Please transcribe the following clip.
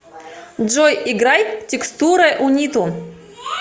джой играй текстуре униту